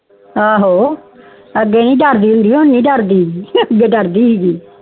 ਆਹੋ ਅੱਗੇ ਨੀ ਦਰਦੀ ਹੁੰਦੀ ਹੁਣ ਨੀ ਦਰਦੀ ਅੱਗੇ ਦਰਦੀ ਸੀ